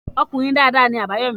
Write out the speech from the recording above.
Ọkùnrin dada ni Àbáyọ́mí.